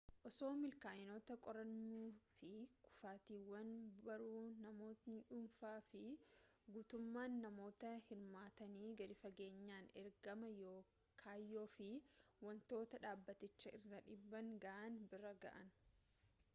osoo milkaa'inoota qorannuu fi kufaatiiwwan barruu namootni dhuunfaa fi guutummaan namoota hirmaatanii gadi fageenyaan ergama kayyoo fi wantoota dhaabbaticha irraan dhiibbaa ga'an bira ga'an